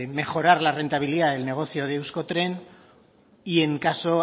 mejorar la rentabilidad de negocio de euskotren y en caso